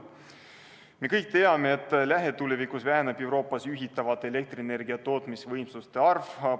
Me kõik teame, et lähitulevikus Euroopas juhitavate elektrienergia tootmisvõimsuste arv väheneb.